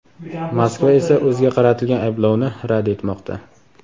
Moskva esa o‘ziga qaratilgan ayblovni rad etmoqda.